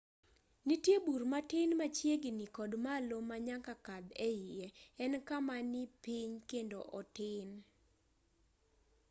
nitie bur matin machiegini kod malo ma nyaka kadh eiye en kama ni piny kendo otin